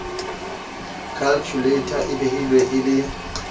khalkhuleita e behilwe e le